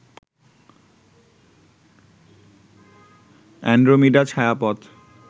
Andromeda ছায়াপথ